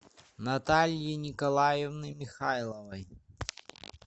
натальи николаевны михайловой